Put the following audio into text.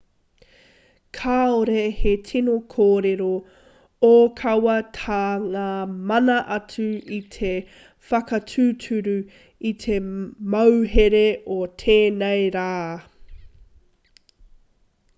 kāore he tino kōrero ōkawa tā ngā mana atu i te whakatūturu i te mauhere o tēnei rā